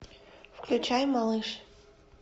включай малыш